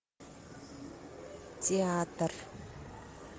театр